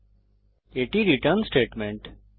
এবং এটি আমাদের রিটার্ন স্টেটমেন্ট